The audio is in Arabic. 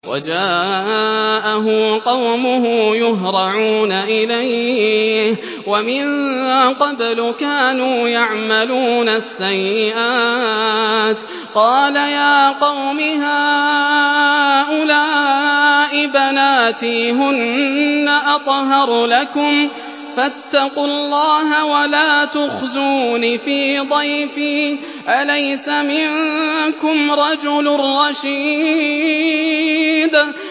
وَجَاءَهُ قَوْمُهُ يُهْرَعُونَ إِلَيْهِ وَمِن قَبْلُ كَانُوا يَعْمَلُونَ السَّيِّئَاتِ ۚ قَالَ يَا قَوْمِ هَٰؤُلَاءِ بَنَاتِي هُنَّ أَطْهَرُ لَكُمْ ۖ فَاتَّقُوا اللَّهَ وَلَا تُخْزُونِ فِي ضَيْفِي ۖ أَلَيْسَ مِنكُمْ رَجُلٌ رَّشِيدٌ